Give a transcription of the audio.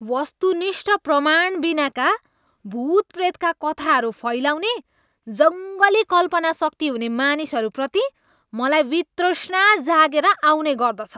वस्तुनिष्ठ प्रमाणबिनाका भुत प्रेतका कथाहरू फैलाउने जङ्गली कल्पनाशक्ति हुने मानिसहरूप्रति मलाई वितृष्णा जागेर आउने गर्दछ।